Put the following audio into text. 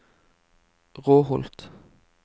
Råholt